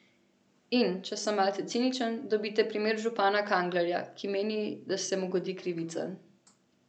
In, če sem malce ciničen, dobite primer župana Kanglerja, ki meni, da se mu godi krivica.